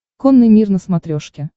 конный мир на смотрешке